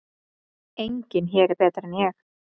Enginn hér er betri en ég.